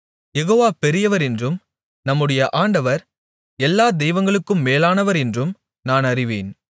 யெகோவா பெரியவர் என்றும் நம்முடைய ஆண்டவர் எல்லா தெய்வங்களுக்கும் மேலானவர் என்றும் நான் அறிவேன்